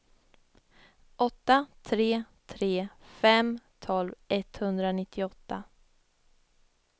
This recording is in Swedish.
åtta tre tre fem tolv etthundranittioåtta